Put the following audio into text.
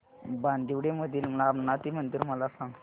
बांदिवडे मधील रामनाथी मंदिर मला सांग